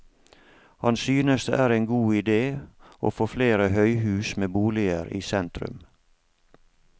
Han synes det er en god idé å få flere høyhus med boliger i sentrum.